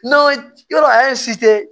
N'aw yɔrɔ a ye